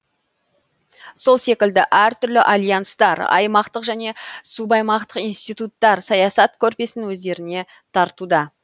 сол секілді әртүрлі альянстар аймақтық және субаймақтық институттар саясат көрпесін өздеріне тартуда